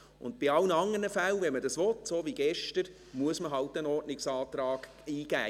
Und bei allen anderen Fällen, wenn man das will, so wie gestern, muss man eben einen Ordnungsantrag eingeben.